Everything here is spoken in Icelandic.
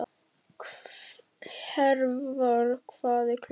Hervar, hvað er klukkan?